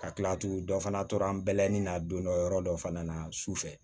Ka kila tugun dɔ fana tora na don dɔ yɔrɔ dɔ fana na sufɛ